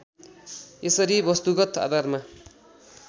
यसरी वस्तुगत आधारमा